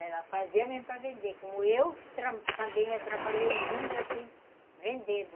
Ela fazia mesmo para vender, como eu, também já trabalhei muito assim, vendendo.